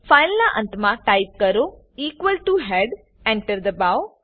file ના અંત મા ટાઈપ કરો ઇક્વલ ટીઓ હેડ Enter દબાઓ